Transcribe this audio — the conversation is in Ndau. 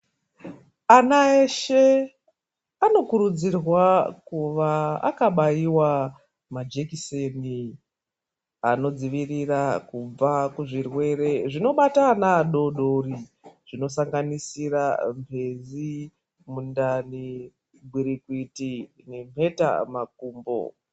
Ana eshe anokurudzirwa kuva akabaiwa majekiseni anodzivirira kubva muzvirwere zvinobata ana adodori zvinosanganisira mpezi ,mundani ,gwirikwiti nenheta makumbo .